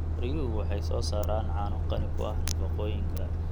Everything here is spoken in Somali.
Riyuhu waxay soo saaraan caano qani ku ah nafaqooyinka.